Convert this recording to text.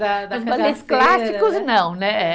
clássicos, não, né, eh